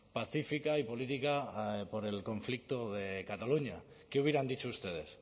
pacífica y política por el conflicto de cataluña qué hubieran dicho ustedes